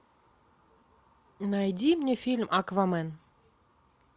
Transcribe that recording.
найди мне фильм аквамен